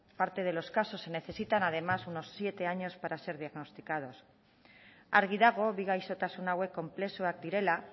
parte de los casos se necesitan además unos siete años para ser diagnosticados argi dago bi gaixotasun hauek konplexuak direla